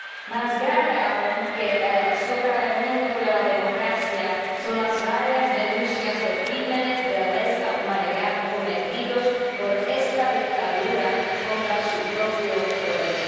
Más grave aún que el socavamiento de la democracia son las varias denuncias de crímenes de lesa humanidad cometidos por esta dictadura contra su propio pueblo.